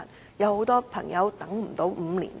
主席，很多朋友根本無法等候5年。